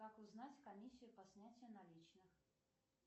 как узнать комиссию по снятию наличных